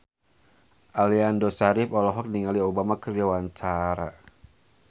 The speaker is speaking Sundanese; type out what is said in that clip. Aliando Syarif olohok ningali Obama keur diwawancara